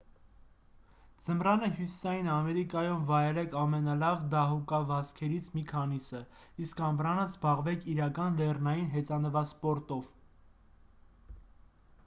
ձմռանը հյուսիսային ամերիկայում վայելեք ամենալավ դահուկավազքերից մի քանիսը իսկ ամռանը զբաղվեք իրական լեռնային հեծանվասպորտով